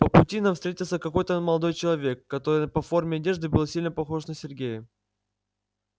по пути нам встретился какой-то молодой человек который по форме одежды был сильно похож на сергея